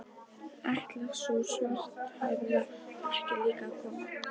Ætlar sú svarthærða ekki líka að koma?